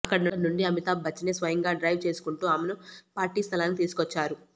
అక్కడి నుండి అమితాబ్ బచ్చనే స్వయంగా డ్రైవ్ చేసుకుంటూ ఆమెను పార్టీ స్థలానికి తీసుకువచ్చారు